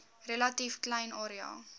relatief klein area